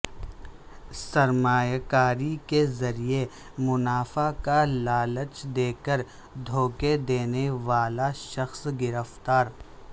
سرمایہ کاری کے ذریعہ منافع کا لالچ دیکر دھوکہ دینے والا شخص گرفتار